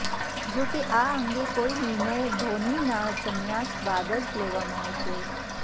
જો કે આ અંગે કોઇ નિર્ણય ધોનીના સંન્યાસ બાદ જ લેવામાં આવશે